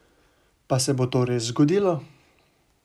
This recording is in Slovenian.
Pa se bo to res zgodilo?